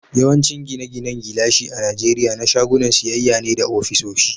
Yawancin gine-ginen gilashi a Najeriya na shagunan siyayya ne da ofisoshi.